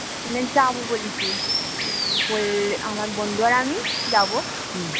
মানে যাবো বলেছি ওই আমার বন্ধু আর আমি যাবো